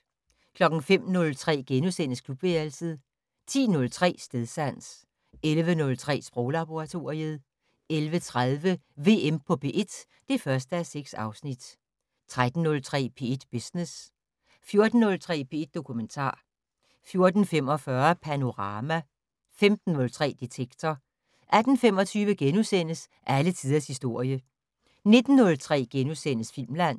05:03: Klubværelset * 10:03: Stedsans 11:03: Sproglaboratoriet 11:30: VM på P1 (1:6) 13:03: P1 Business 14:03: P1 Dokumentar 14:45: Panorama 15:03: Detektor 18:25: Alle tiders historie * 19:03: Filmland *